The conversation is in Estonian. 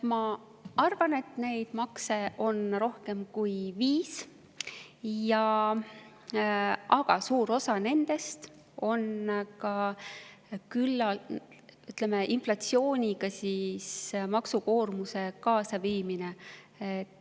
Ma arvan, et neid makse on rohkem kui viis, aga suure osa puhul on see, ütleme, maksukoormuse inflatsiooniga kaasaviimine.